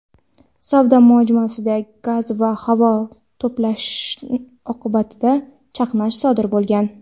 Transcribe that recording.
savdo majmuasida gaz va havo to‘planishi oqibatida chaqnash sodir bo‘lgan.